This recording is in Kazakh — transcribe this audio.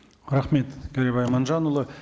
рахмет кәрібай аманжанұлы